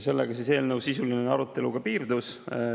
Sellega eelnõu sisuline arutelu piirdus.